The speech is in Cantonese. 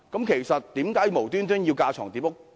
其實有甚麼緣故要架床疊屋？